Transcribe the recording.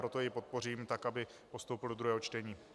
Proto jej podpořím, tak aby postoupil do druhého čtení.